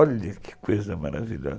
Olha que coisa maravilhosa.